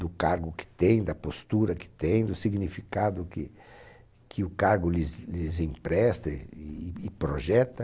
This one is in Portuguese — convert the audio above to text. do cargo que tem, da postura que tem, do significado que o cargo lhes lhes empresta e e projeta.